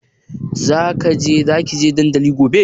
Za ki je dandali gobe?